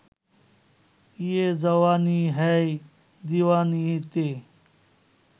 ইয়ে জাওয়ানি হ্যায় দিওয়ানি’তে